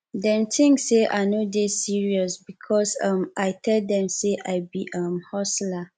dem tink sey i no dey serious because um i tell dem sey i be um hustler